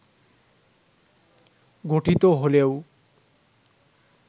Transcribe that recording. গঠিত হলেও